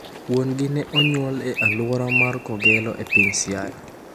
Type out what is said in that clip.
Wuon gi ne onyuol e aluora mar Kogelo e piny Siaya.